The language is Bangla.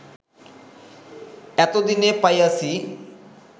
এত দিনে পাইয়াছি